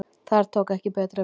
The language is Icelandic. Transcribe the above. Þar tók ekki betra við